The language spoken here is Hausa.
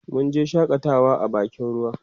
munje shakatawa a bakin ruwa